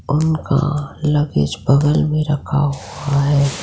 उनका लगेज बगल मे रखा हुआ है।